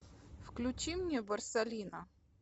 включи мне борсалино